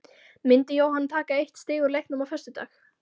Myndi Jóhann taka eitt stig úr leiknum á föstudag?